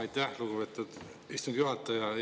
Aitäh, lugupeetud istungi juhataja!